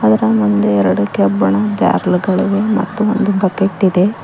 ಅದರ ಮುಂದೆ ಎರಡು ಕೇಬಣ್ಣಾ ಬರ್ರೆಲ್ಗಳಿವೆ ಮತ್ತು ಒಂದು ಬಕೆಟ್ ಇದೆ.